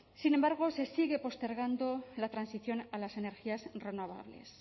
sin embargo se sigue postergado la transición a las energías renovables